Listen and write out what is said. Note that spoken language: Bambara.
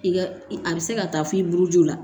I ka a bɛ se ka taa f'i buruju la